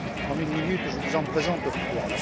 En une minute, je vous en présente trois.